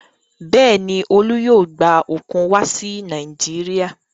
Bẹ́ẹ̀ ni, Olú yóò gba òkun wá sí Nàìjíríà.